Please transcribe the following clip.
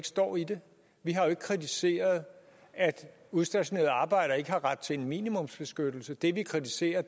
står i det vi har jo ikke kritiseret at udstationerede arbejdere ikke har ret til en minimumsbeskyttelse det vi kritiserer